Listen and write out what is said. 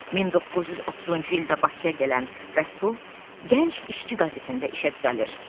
1930-cu ildə Bakıya gələn Rəsul, gənc işçi qəzetində işə düzəlir.